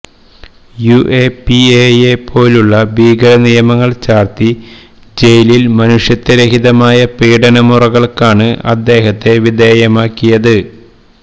യുഎപിഎയെ പോലുള്ള ഭീകരനിയമങ്ങൾ ചാർത്തി ജയിലിൽ മനുഷ്യത്വരഹിതമായ പീഡനമുറകൾക്കാണ് അദ്ദേഹത്തെ വിധേയമാക്കിയത്